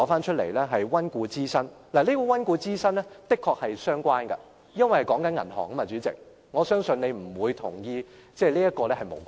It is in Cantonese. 代理主席，這種溫故知新的確是相關的，因為說的是銀行，我相信你不會認為這是無關的......